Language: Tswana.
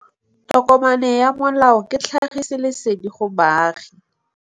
Tokomane ya molao ke tlhagisi lesedi go baagi.